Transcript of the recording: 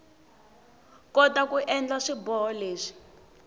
kota ku endla swiboho leswi